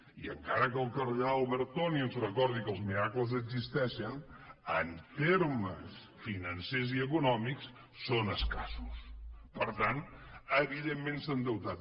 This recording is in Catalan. i encara que el cardenal bertone ens recordi que els miracles existeixen en termes financers i econòmics són escassos per tant evidentment s’ha endeutat